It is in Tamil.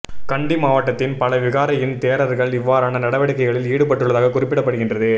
கண்டி மாவட்டத்தின் பல விகாரையின் தேரர்கள் இவ்வாறான நடவடிக்கைகளில் ஈடுப்பட்டுள்ளதாக குறிப்பிடப்படுகின்றது